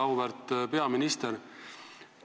Auväärt peaminister!